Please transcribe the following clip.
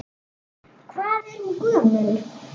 Hvað er hún gömul?